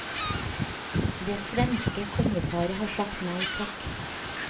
Det svenske kongeparet har sagt nei takk.